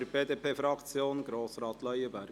für die BDP-Fraktion: Grossrat Leuenberger.